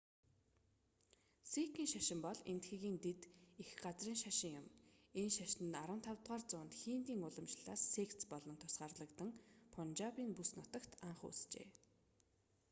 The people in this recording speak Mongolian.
сикийн шашин бол энэтхэгийн дэд эх газрын шашин юм энэ шашин нь 15-р зуунд хиндийн уламжлалаас секц болон тусгаарлагдан пунжабын бүс нутагт анх үүсжээ